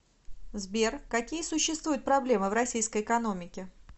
сбер какие существуют проблемы в российской экономике